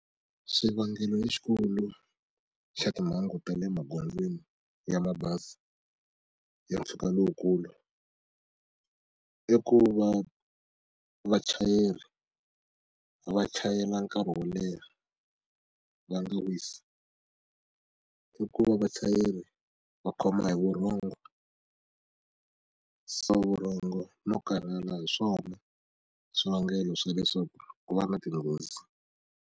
Swivangelo lexikulu xa timhangu ta le magondzweni ya mabazi ya mpfhuka lowukulu i ku va vachayeri va chayela nkarhi wo leha va nga wisi i ku va vachayeri va khoma hi vurhongo no karhala hi swona swivangelo swa leswaku ku va na tinghozi.